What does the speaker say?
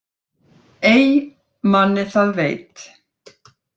Ey manni það veit